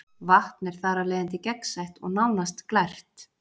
Vatn er þar af leiðandi gegnsætt og nánast glært.